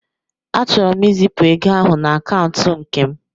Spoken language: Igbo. Achọrọ m izipụ ego ahụ na akaụntụ nke m.